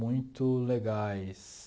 muito legais.